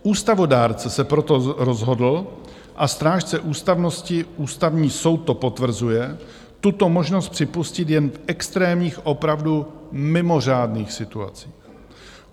Ústavodárce, se proto rozhodl, a strážce ústavnosti Ústavní soud to potvrzuje, tuto možnost připustit jen v extrémních, opravdu mimořádných situacích.